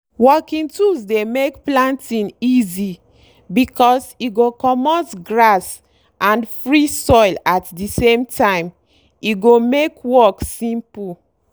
working tools dey make planting easy because e go comot grass and free soil at the same time e go make work simple.